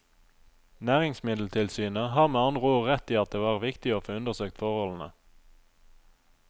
Næringsmiddeltilsynet har med andre ord rett i at det var viktig å få undersøkt forholdene.